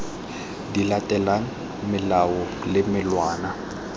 di latelang melao le melawana